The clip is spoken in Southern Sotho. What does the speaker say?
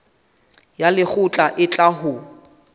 ya lekgotla e tla ho